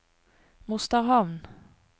Mosterhamn